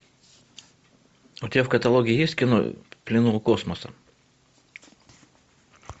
у тебя в каталоге есть кино в плену у космоса